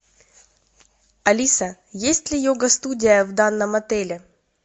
алиса есть ли йога студия в данном отеле